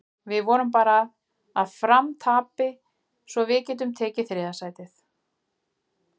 Við vonum bara að Fram tapi svo við getum tekið þriðja sætið.